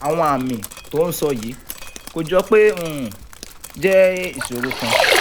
àwọn àmì tó ò ń sọ yìí kò jọ pé ó um jẹ́ ìṣòro ọkàn